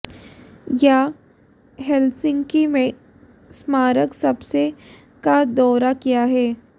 यह हेलसिंकी में स्मारक सबसे का दौरा किया है